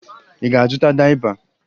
Ị ga-azụta dayịpa?